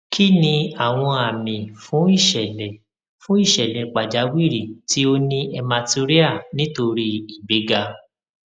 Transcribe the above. kí ni àwọn àmì fún ìṣẹlẹ fún ìṣẹlẹ pàjáwìrì tí ó ní hematuria nítorí ìgbéga